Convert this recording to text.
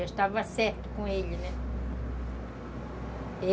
Já estava certa com ele, né?